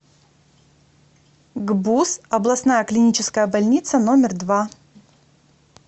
гбуз областная клиническая больница номер два